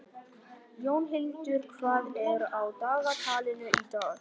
Jónhildur, hvað er á dagatalinu í dag?